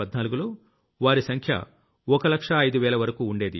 2014లో వారి సంఖ్య ఒక లక్షా ఐదు వేల వరకూ ఉండేది